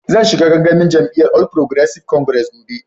Zan shiga gangamin jami'yyan All Progressive Congress gobe.